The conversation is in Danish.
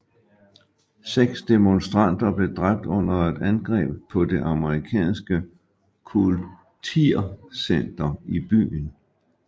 Seks demonstranter blev dræbt under et angreb på det amerikanske kultircenter i byen